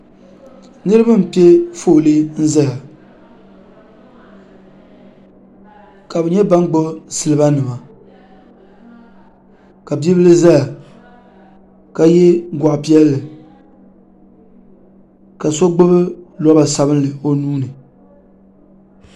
niriba n pɛƒɔli n zaya ka be nyɛ ban gbabi silibanima ka be bili zaya ka yɛ guɣipiɛlli ka sogbabi loba sabinli o nuuni